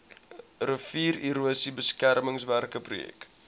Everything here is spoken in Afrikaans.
riviererosie beskermingswerke projek